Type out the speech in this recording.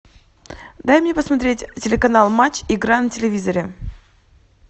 дай мне посмотреть телеканал матч игра на телевизоре